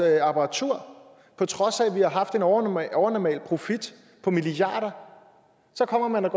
apparatur på trods af at vi har haft en overnormal overnormal profit på milliarder så går man